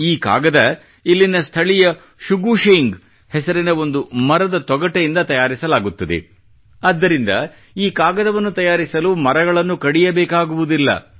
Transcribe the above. ಈ ಕಾಗದ ಇಲ್ಲಿನ ಸ್ಥಳೀಯ ಶುಗು ಶೇಂಗ್ ಹೆಸರಿನ ಒಂದು ಮರದ ತೊಗಟೆಯಿಂದ ತಯಾರಿಸಲಾಗುತ್ತದೆ ಆದ್ದರಿಂದ ಈ ಕಾಗದವನ್ನು ತಯಾರಿಸಲು ಮರಗಳನ್ನು ಕಡಿಯಬೇಕಾಗುವುದಿಲ್ಲ